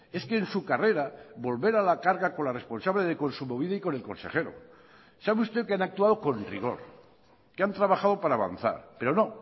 es que en su carrera volver a la carga con la responsable de kontsumobide y con el consejero sabe usted que han actuado con rigor que han trabajado para avanzar pero no